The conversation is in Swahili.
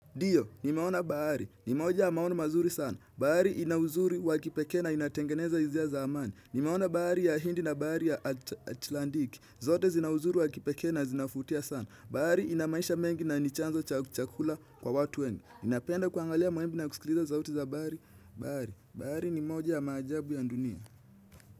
Ndio, nimeona bahari, nimoja ya maono mazuri sana, bahari inauzuri wakipekee na inatengeneza hizia za amani, nimeona bahari ya hindi na bahari ya atlandiki, zote zinauzuri wakipekee na zinafutia sana, bahari inamaisha mengi na nichanzo cha chakula kwa watu wengi, napenda kuangalia mawimbi na kusikiliza sauti za bahari, bahari, bahari nimoja ya maajabu ya ndunia.